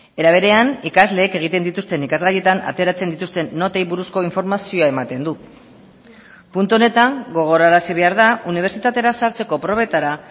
era berean ikasleek egiten dituzten ikasgaietan ateratzen dituzten notei buruzko informazioa ematen du puntu honetan gogorarazi behar da unibertsitatera sartzeko probetara